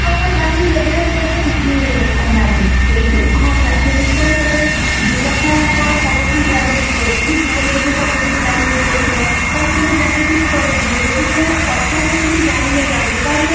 ଆବଶ୍ୟକତା ପାଇଁ ବ୍ୟବହାର କଲେ କିଛି ନାହିଁ ହଁ travelling ପାଇଁ ତମେ ଦିନକୁ କଣ ସବୁଦିନ କଣ ସବୁଦିନ travelling କରୁଛ କି ଦିନକୁ ଯଦି ସବୁଦିନ travelling କରୁଥିବ ତାହେଲେ ତ ତମେ ଜାଣିଥିବ କୁଆଡେ ଯିବ ଯଦି ତମେ ଅଚାନକ କିଛି ଜାଣିନ ଯାଉଛ ତାହେଲେ